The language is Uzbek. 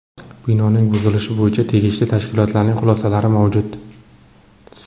Binoning buzilishi bo‘yicha tegishli tashkilotlarning xulosalari mavjud.